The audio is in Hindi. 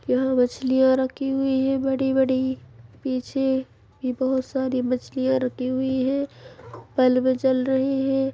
यहाँ मछलियाँ रखी हुई हैं बड़ी-बडी पीछे भी बहुत सारी मछलियाँ रखी हुई हैं बल्ब जल रहे हैं।